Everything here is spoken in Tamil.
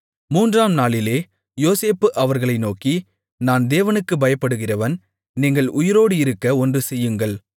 மூன்றாம் நாளிலே யோசேப்பு அவர்களை நோக்கி நான் தேவனுக்குப் பயப்படுகிறவன் நீங்கள் உயிரோடு இருக்க ஒன்று செய்யுங்கள்